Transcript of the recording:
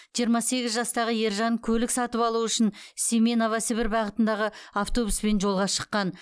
жиырма сегіз жастағы ержан көлік сатып алу үшін семей новосібір бағытындағы автобуспен жолға шыққан